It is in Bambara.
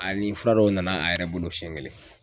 A ni fura dɔw nana a yɛrɛ bolo siɲɛ kelen.